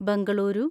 Bengaluru